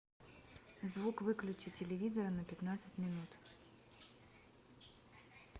звук выключи телевизора на пятнадцать минут